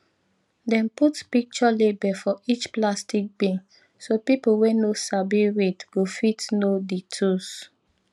dem put picture label for each plastic bin so people wey no sabi read go fit know di tools